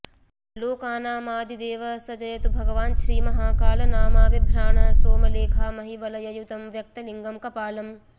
लोकानामादिदेवः स जयतु भगवाञ्छ्रीमहाकालनामा बिभ्राणः सोमलेखामहिवलययुतं व्यक्तलिङ्गं कपालम्